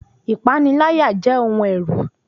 Ìpaniláyà jẹ́ ohun ẹ̀rù